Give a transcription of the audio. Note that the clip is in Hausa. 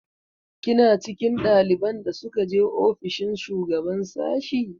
Kina cikin ɗaliban da suka je ofishin shugaban sashi?